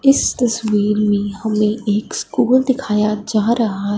इस तस्वीर में हमें एक स्कूल दिखाया जा रहा--